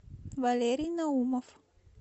валерий наумов